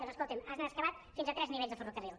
doncs escolti’m han excavat fins a tres nivells de ferrocarril